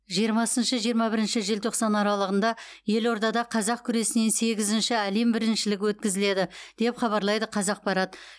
жиырмасыншы жиырма бірінші желтоқсан аралығында елордада қазақ күресінен сегізінші әлем біріншілігі өткізіледі деп хабарлайды қазақпарат